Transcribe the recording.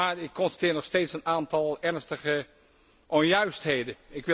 Maar ik constateer nog steeds een aantal ernstige onjuistheden.